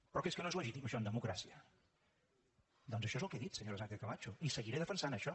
però que és que no és legítim això en democràcia doncs això és el que he dit senyora sánchez camacho i seguiré defensant això